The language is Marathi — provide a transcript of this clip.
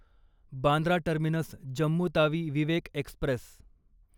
Bandra terminus Jammu Tawi Vivek Express